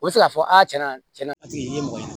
U bɛ se k'a fɔ a tiɲɛ na tiɲɛna paseke nin ye mɔgɔ ye